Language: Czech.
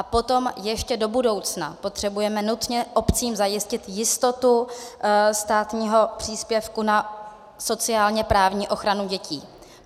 A potom ještě do budoucna potřebujeme nutně obcím zajistit jistotu státního příspěvku na sociálně-právní ochranu dětí.